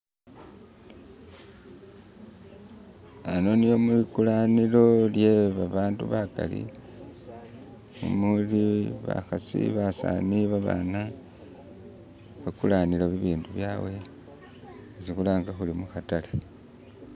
ano mwikulanilo lyebabandu bakali muli bahasi basani babana bakulanilo bibindu byawe isi hulanga huli muhatale